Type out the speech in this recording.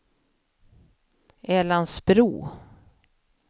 Älandsbro